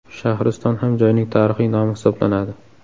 Shahriston ham joyning tarixiy nomi hisoblanadi.